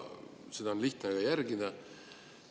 Seda oleks lihtne järgida.